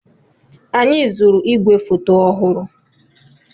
Anyị zụrụ ígwèfoto ọhụrụ.